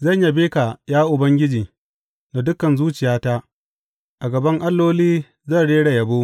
Zan yabe ka, ya Ubangiji, da dukan zuciyata; a gaban alloli zan rera yabo.